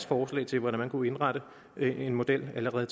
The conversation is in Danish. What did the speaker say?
forslag til hvordan man kunne indrette en model allerede